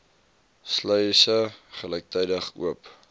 sluise gelyktydig oop